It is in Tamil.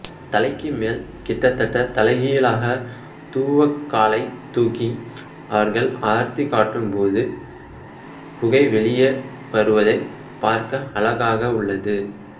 தலைக்கு மேலே கிட்டத்தட்ட தலைகீழாக தூவக்காலைத் தூக்கி அவர்கள் ஆர்த்தி காட்டும்போது புகை வெளியே வருவதைப் பார்க்க அழகாக உள்ளது